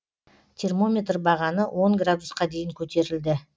термометр бағаны он градусқа дейін көтерілді